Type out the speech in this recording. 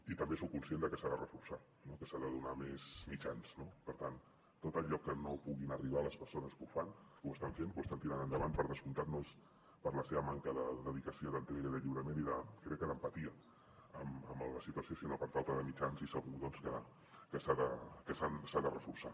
i també soc conscient de que s’ha de reforçar que s’hi han de donar més mitjans no per tant tot allò a què no puguin arribar les persones que ho fan que ho estan fent que ho estan tirant endavant per descomptat no és per la seva manca de dedicació d’entrega i crec que d’empatia amb la situació sinó per falta de mitjans i segur que s’ha de reforçar